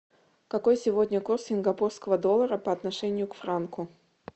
какой сегодня курс сингапурского доллара по отношению к франку